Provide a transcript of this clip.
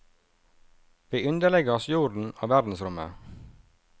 Vi underlegger oss jorden og verdensrommet.